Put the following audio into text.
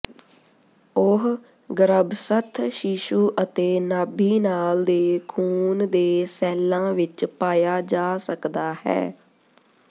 ਉਹ ਗਰੱਭਸਥ ਸ਼ੀਸ਼ੂ ਅਤੇ ਨਾਭੀਨਾਲ ਦੇ ਖੂਨ ਦੇ ਸੈੱਲਾਂ ਵਿੱਚ ਪਾਇਆ ਜਾ ਸਕਦਾ ਹੈ